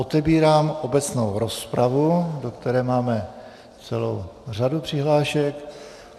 Otevírám obecnou rozpravu, do které máme celou řadu přihlášek.